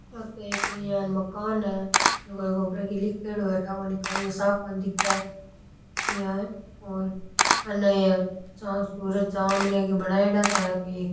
ओ तो एक इया मकान है जोकोई लिख्योड़ो है ठा कोनी काई है साफ कोनी दिख इया और अन या चाँद सूरज चांद इया की बनाइयडॉ सा है कोई एक --